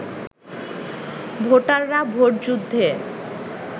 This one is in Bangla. ভোটাররা ভোট যুদ্ধে